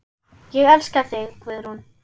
Ég elska þig, Guðrún.